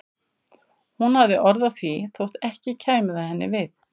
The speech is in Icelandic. Hún hafði orð á því þótt ekki kæmi það henni við.